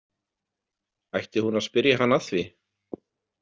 Ætti hún að spyrja hann að því?